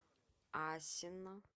асино